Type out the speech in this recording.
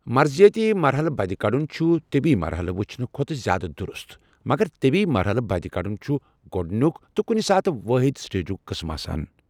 مرضیٲتی مرٛحلہٕ بدِ كڑن چھُ طبی مرحلہٕ وٕچھنہٕ کھۄتہٕ زیٛادٕ دُرُست، مگر طبی مرحلہٕ بدِ كڈن چھ گۄڈنیُک تہٕ کُنہِ ساتہٕ وٲحِد سٹیجنگ قٕسم آسان ۔